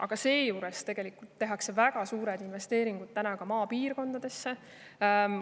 Aga samas tegelikult tehakse praegu väga suured investeeringud maapiirkondadesse.